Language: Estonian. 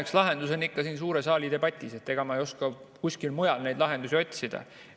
Eks lahendus on siin suure saali debatis, ega ma ei oska kuskilt mujalt neid lahendusi otsida.